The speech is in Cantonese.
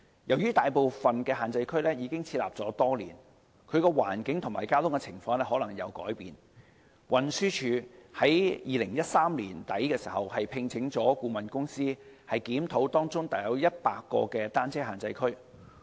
由於大部分限制區已設立多年，其環境和交通情況可能已經改變，運輸署在2013年年底聘請顧問公司檢討當中約100個單車限制區。